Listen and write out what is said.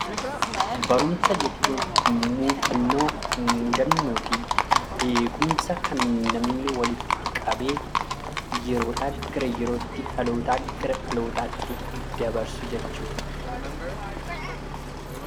Barumsa jechuun muuxannoo muudannoofi beekumsa kan namni walitti qabee yeroodhaa gara yerootti dhalootaa gara dhalootaatti dabarsu jechuudha.